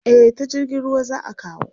Eh ta jirgin ruwa za a kawo.